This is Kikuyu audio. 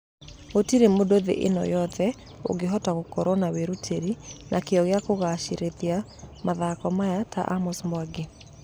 Gũtire mũndũ thĩĩ ĩno yothe ũgehota gũkũrwo na wĩruteri na kĩio gĩa kũgacĩrĩthia mathako maya ta amos mwangi.